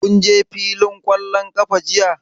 Kun je fillin ƙwallon ƙafa jiya?